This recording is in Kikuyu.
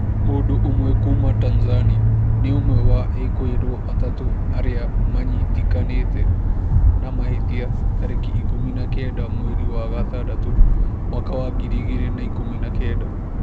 Mũndũ ũmwe kuma Tanzania nĩ ũmwe wa ekũĩrwo atatu arĩa manyitĩkanĩte na mahĩtia tarĩki ikũmi na kenda mweri wa gatandatũ mwaka wa ngiri igĩrĩ na ikũmi na kenda